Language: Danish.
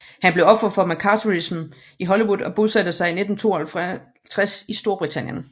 Han blev offer for McCarthyismen i Hollywood og bosatte sig i 1952 i Storbritannien